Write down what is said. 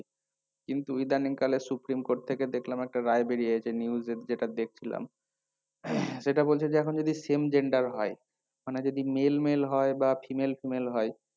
কিন্তু ইদানিং কালে supreme court থেকে দেখলাম একটা রায় বেরিয়েছে news এ যেটা দেখছিলাম সেটা বলছে যে এখন যদি same gender হয় মানে যদি male male হয় বা female female হয়